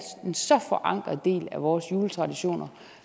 en så forankret del af vores juletraditioner